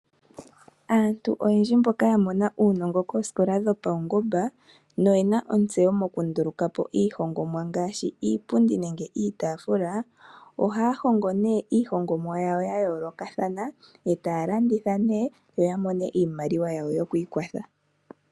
Aantu oyendji mboka ya mona uunongo koosikola dhopaungomba noye na ontseyo mokunduluka po iiihongomwa ngaashi iipundi nenge iitaafula, ohaya hongo iihongomwa yawo ya yoolokathana e taya landitha yo ya mone iimaliwa yawo yo ku ikwatha.